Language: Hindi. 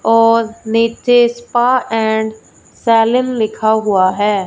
और नीचे स्पा एंड सेलिन लिखा हुआ है।